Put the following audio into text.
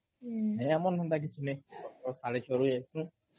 ନାଇଁ ଆମର୍ ହେନ୍ତା କିଛି ନାଇଁ ସକାଳୁ ସାଢେ ଛ'ରୁ ଯାଇଁସୁ